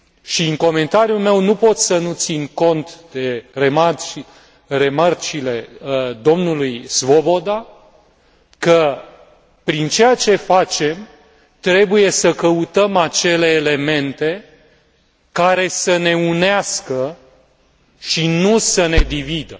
Și în comentariul meu nu pot să nu țin cont de remarcile domnului Svoboda, că prin ceea ce facem, trebuie să căutăm acele elemente care să ne unească și nu să ne dividă.